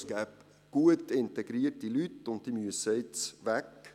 es gebe gut integrierte Leute, und diese müssten nun weg.